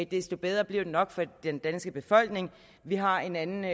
desto bedre bliver det nok for den danske befolkning vi har en anden